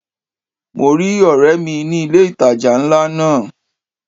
Mo rí ọ̀rẹ́ mi ní ilé ìtajà ńlá náà.